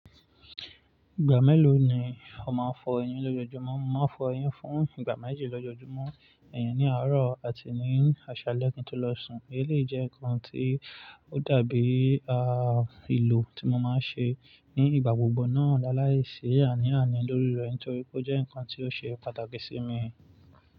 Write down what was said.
Ìgbà mélòó ni ó máa ń fọ eyín lójojúmọ́? Mo máa fọ eyín fún ìgbà méjì lójojúmọ́, ẹ̀yìn ní àárọ̀ àti ní àṣálẹ́ kí n tó lọ sùn. Èyí jẹ́ nǹkan tí ó dàbí èlò tí mo máa ń ṣe ní ìgbà gbogbo, láìsí àní-àní lórí rẹ̀, torí pé ó jẹ́ nǹkan tí ó ṣe pàtàkì sí mi.